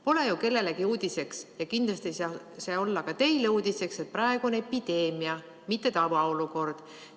Pole ju kellelegi uudiseks ja kindlasti ei saa see olla ka teile uudiseks, et praegu on epideemia, mitte tavaolukord.